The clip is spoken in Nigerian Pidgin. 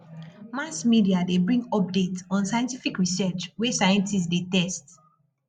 mass media de bring updates on scientific research wey scientist de test